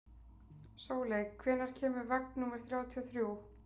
Sóley, hvenær kemur vagn númer þrjátíu og þrjú?